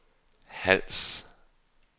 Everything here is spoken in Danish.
Hals